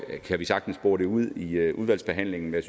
vi kan sagtens bore det ud i i udvalgsbehandlingen men